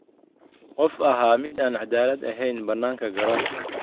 "Qof ahaa mid aan caddaalad ahayn bannaanka garoonka."